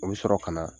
O bɛ sɔrɔ ka na